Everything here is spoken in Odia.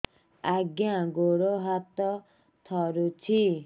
ଆଜ୍ଞା ଗୋଡ଼ ହାତ ଥରୁଛି